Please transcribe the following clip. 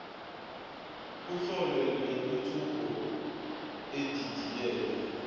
kohlelo lwentuthuko edidiyelwe